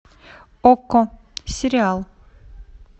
окко сериал